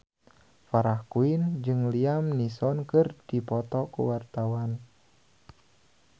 Farah Quinn jeung Liam Neeson keur dipoto ku wartawan